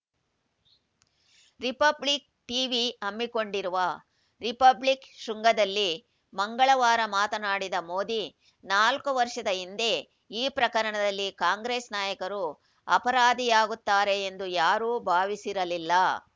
republic TV ಹಮ್ಮಿಕೊಂಡಿರುವ republic ಶೃಂಗದಲ್ಲಿ ಮಂಗಳವಾರ ಮಾತನಾಡಿದ ಮೋದಿ ನಾಲ್ಕು ವರ್ಷದ ಹಿಂದೆ ಈ ಪ್ರಕರಣದಲ್ಲಿ ಕಾಂಗ್ರೆಸ್‌ ನಾಯಕರು ಅಪರಾಧಿಯಾಗುತ್ತಾರೆ ಎಂದು ಯಾರೂ ಭಾವಿಸಿರಲಿಲ್ಲ